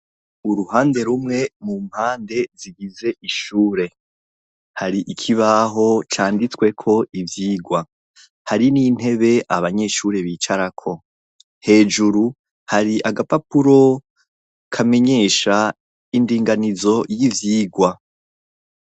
Uruhande rumwe mu mpande zigize ishure hari ikibaho canditweko ivyigwa hari n'intebe abanyeshure bicarako hejuru hari agapapuro kamenyesha indinganizo y'ivyigwa.